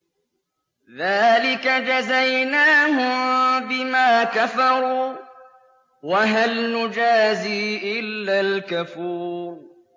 ذَٰلِكَ جَزَيْنَاهُم بِمَا كَفَرُوا ۖ وَهَلْ نُجَازِي إِلَّا الْكَفُورَ